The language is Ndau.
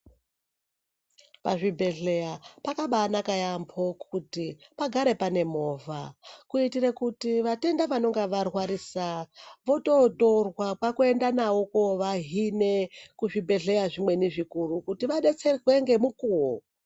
Pazvibhedhleya pakabaanaka yaampho kuti pagare pane movha ,kuitire kuti vatenda vanenge varwarisa ,vototorwa kwaakovahine kuzvibhedhleya zvimweni zvikuru, kuti vadetserwe ngemikuwo.